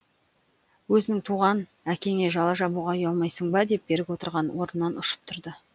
өзіңнің туған әкеңе жала жабуға уялмайсың ба деп берік отырған орнынан ұшып тұрды